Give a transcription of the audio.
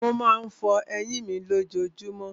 Mo má ń fọ eyín mi lójojúmọ́.